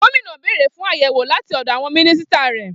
Gómìnà béèrè fún àyẹ̀wò láti ọ̀dọ̀ àwọn mínísítà rẹ̀.